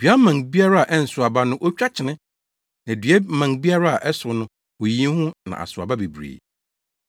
Dua mman biara a ɛnsow aba no otwa kyene, na dua mman biara a ɛsow no, oyiyi ho na asow aba bebree.